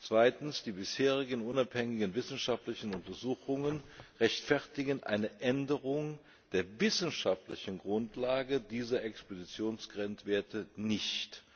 Zweitens Die bisherigen unabhängigen wissenschaftlichen Untersuchungen rechtfertigen eine Änderung der wissenschaftlichen Grundlage dieser Expositionsgrenzwerte nicht.